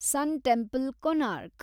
ಸನ್ temple, Konark